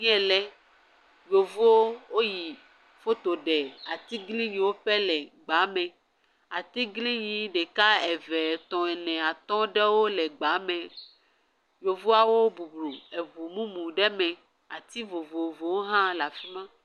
Yeelɛ. Yevuwo woyi foto ɖe atiglinyi ƒe le gbaa me. Atiglinyi ɖeka, eve, etɔ̃, ene, atɔ̃ ɖewo le gbaa me. Yevoawo bublu eŋu mumu ɖe me. Ati vovovowo hã la fi ma.